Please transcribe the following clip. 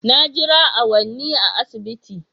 Na jira awanni a asibiti